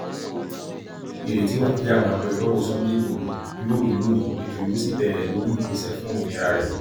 ìrètí wà pé àwọn agbẹjọrò sunday igbodò yóò rí i lónìí ètò yóò sì bẹrẹ lórí ìgbésẹ fún òmìnira rẹ